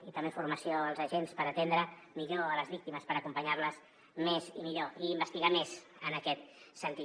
i també formació als agents per atendre millor a les víctimes per acompanyar les més i millor i investigar més en aquest sentit